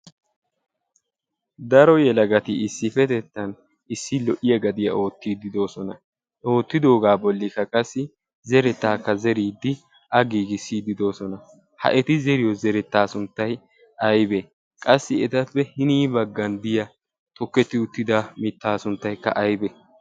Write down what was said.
daro yela gati issipetettan issi lo'iya gadiyaa oottiiddidoosona. oottidoogaa bolli ka qassi zerettaakka zeriiddi a giigissiididoosona. ha eti zeriyo zerettaa sunttay aybee? qassi etappe hinii baggan diya tokketti uttida mittaa sunttaykka aibee?